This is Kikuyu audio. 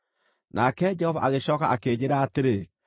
Nake Jehova agĩcooka akĩnjĩĩra atĩrĩ,